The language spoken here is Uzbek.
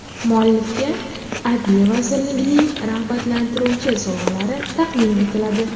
Muallifga Adliya vazirligining rag‘batlantiruvchi sovg‘alari taqdim etiladi.